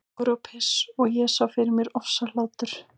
Kúkur og piss- og ég sá fyrir mér ofsahlátur.